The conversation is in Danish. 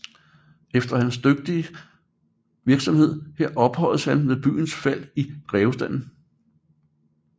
Efter hans dygtige virksomhed her ophøjedes han ved byens fald i grevestanden